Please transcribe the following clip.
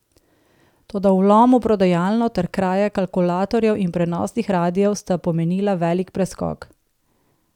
Toda vlom v prodajalno ter kraja kalkulatorjev in prenosnih radiev sta pomenila velik preskok.